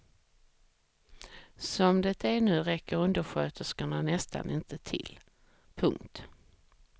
Som det är nu räcker undersköterskorna nästan inte till. punkt